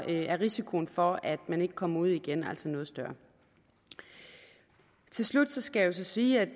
er risikoen for at man ikke kommer ud igen altså noget større til slut skal jeg så sige at